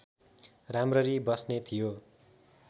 राम्ररी बस्ने थियो